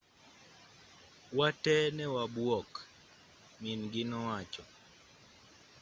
wa tee newabuok min-gi nowacho